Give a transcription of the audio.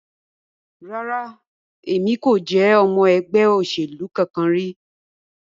Rara, Emi ko je ọmọ ẹgbẹ oselu kankan ri